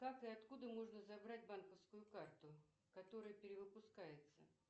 как и откуда можно забрать банковскую карту которая перевыпускается